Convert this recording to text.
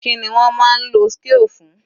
Kíni wọ́n máa ń lo scale fún?